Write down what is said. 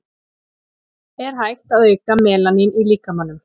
er hægt að auka melanín í líkamanum